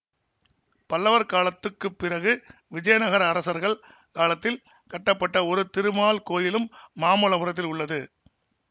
பல்லவர் காலத்துக்கு பிறகு விஜயநகர அரசர்கள் காலத்தில் கட்டப்பட்ட ஒரு திருமால் கோயிலும் மாமல்லபுரத்தில் உள்ளது